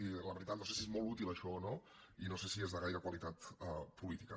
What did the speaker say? i la veritat no sé si és molt útil això o no i no sé si és de gaire qualitat política